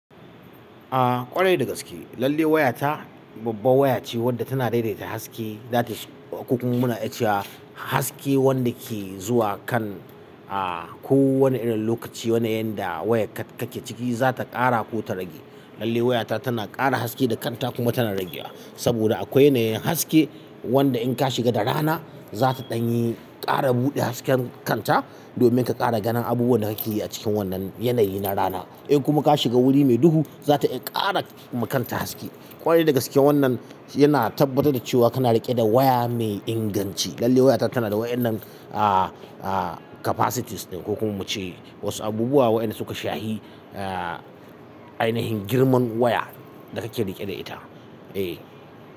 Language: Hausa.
A ƙwarai dagaske, lalle waya ta babbar waya ce wanda tana daidaita haske, zata ko kuma muna iya cewa haske wanda ke zuwa kan a ko wani irin lokaci wane yanayin da waya kake ciki zata ƙara ko ta rage. Lalle waya ta tana ƙara haske da kanta kuma tana ragewa. Saboda akwai yanayin haske wanda in kashiga da rana zata ɗanyi ta kara bude hasken kanta domin ka ƙara ganin abubuwan da kakeyi a cikin wannan yanayi na rana in kuma ka shiga guri me duhu zata iya ƙara ma kanta haske kwarai da gaske wannan yana tabbatar da cewa kana riƙe da waya me inganci lallai wayata tanada wa'yannan kafasitis ɗin ko kuma muce wasu abubuwa waɗanda suka shahi ainahin girman waya da kake riƙe da ita.